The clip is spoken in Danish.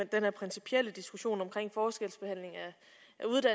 den her principielle diskussion omkring forskelsbehandling af